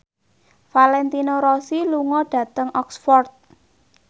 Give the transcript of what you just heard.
Valentino Rossi lunga dhateng Oxford